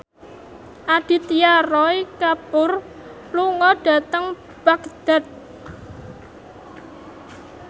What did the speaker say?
Aditya Roy Kapoor lunga dhateng Baghdad